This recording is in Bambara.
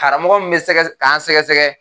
Karamɔgɔ min be sɛgɛ k'an sɛgɛsɛgɛ